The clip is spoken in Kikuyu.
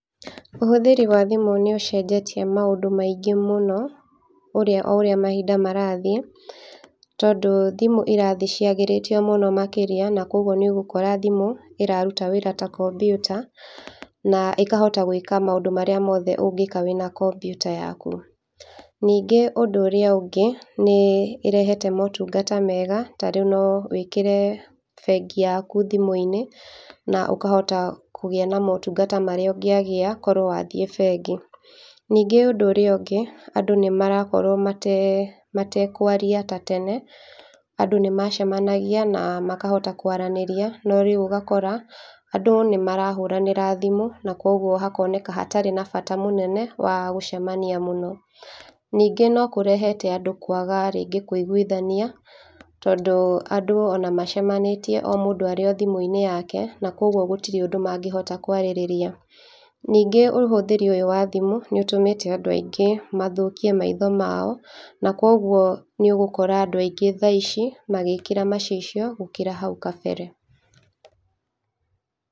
Ũhũthĩri wa thimũ nĩ ũcenjetie maũndũ maingĩ mũno, ũrĩa oũrĩa mahinda marathiĩ, tondũ thimũ irathiĩ ciagĩrĩtio mũno makĩria, na koguo nĩ ũgũkora thimũ ĩrarũta wĩra ta computer, na ĩkahota gwĩka maũndũ marĩa mothe ũngĩkwa wĩna computer yakũ. Ningĩ ũndũ ũrĩa ũngĩ nĩ ĩrehete motũngata mega tarĩũ no wĩkĩre bengi yakũ thimũ-inĩ, na ũkahota kũgia na maũtũngata marĩa ũngĩagĩa korũo wathiĩ bengi. Ningĩ ũndũ ũrĩa ũngĩ andũ nĩ marakorwo mate, matekwaria ta tene andũ nĩ macemangia na makahota kwaranĩria noriũ ũgakora andũ nĩmarahũranĩra thimũ na kũogũo hakoneka hatarĩ na bata mũnene wa gũcemania mũno. Ningĩ no kũrehete andũ kwaga rĩngĩ kũigũithania, tondũ andũ ona macemanĩtie o mũndũ arĩ thimũ-inĩ yake na koguo gũtirĩ ũndũ mangĩhota kwarĩrĩria. Ningĩ ũhũthĩri ũyũ wa thimũ nĩ ũtũmĩte andũ angĩ mathũkie maitho mao na koguo nĩ ũgũkora andũ aingĩ thaici magĩkĩra macicio gũkira thaũ kabere.